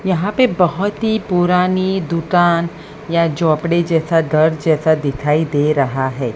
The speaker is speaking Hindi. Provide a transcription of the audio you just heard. यहां पे बहोत ही पुरानी दुकान या झोपड़ी जैसा घर जैसा दिखाई दे रहा है।